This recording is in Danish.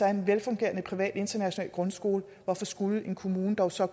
er en velfungerende privat international grundskole hvorfor skulle en kommune dog så